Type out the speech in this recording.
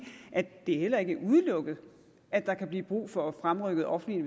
at det heller ikke er udelukket at der kan blive brug for at fremrykke offentlige